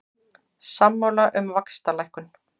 Sammála um vaxtalækkun